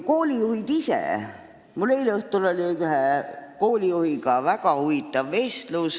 Mul oli eile õhtul väga huvitav vestlus ühe koolijuhiga.